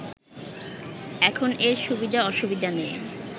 এখন এর সুবিধা অসুবিধা নিয়ে